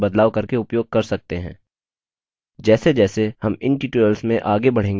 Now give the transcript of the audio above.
जैसे जैसे हम इन tutorial में आगे बढ़ेंगे इन sections को विस्तार में देखेंगे